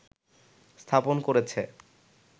স্থাপন করেছে